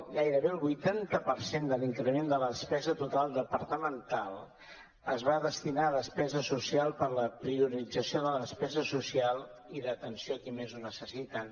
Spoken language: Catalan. gairebé el vuitanta per cent de l’increment de la despesa total departamental es va destinar a despesa social per a la priorització de la despesa social i d’atenció a qui més ho necessita